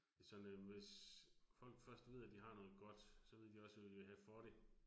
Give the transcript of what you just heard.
Det sådan øh, hvis folk først ud af, de har noget godt, så ved de også hvad de vil have for det